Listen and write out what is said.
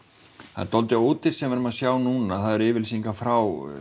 það er dálítið ódýrt sem við erum að sjá núna yfirlýsingar frá